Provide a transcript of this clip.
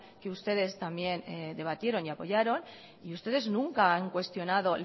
que ustedes también debatieron y apoyaron y ustedes nunca han cuestionado